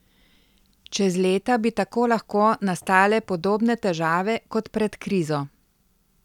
Čez leta bi tako lahko nastale podobne težave kot pred krizo.